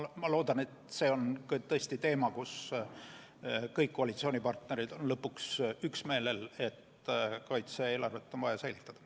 Ma loodan, et see on tõesti teema, kus kõik koalitsioonipartnerid on lõpuks üksmeelel, et kaitse-eelarvet on vaja säilitada.